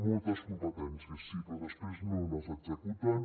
moltes competències sí però després no les executen